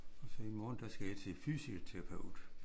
Og så i morgen der skal jeg til fysioterapeut